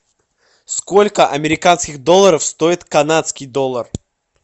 сколько американских долларов стоит канадский доллар